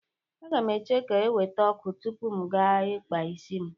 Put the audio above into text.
Aga m eche ka e weta ọkụ tupu m gaa ikpa isi m.